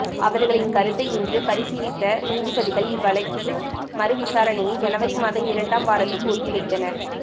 அவர்களின் கருத்தை இன்று பரிசீலித்த நீதிபதிகள் இவ்வழக்கி மறுவிசாரணையை ஜனவரி மாதம் இரண்டாம் வாரத்துக்கு ஒத்திவைத்தனர்